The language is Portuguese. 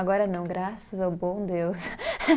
Agora não, graças ao bom Deus.